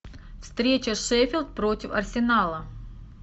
встреча шеффилд против арсенала